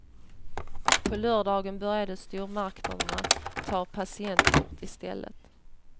På lördagen började stormarknaderna ta patientkorten i stället.